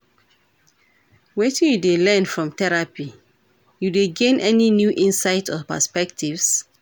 Wetin you dey learn from therapy, you dey gain any new insights or perspectives?